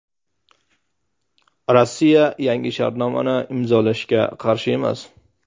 Rossiya yangi shartnomani imzolashga qarshi emas.